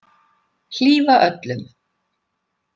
Hlífa öllum.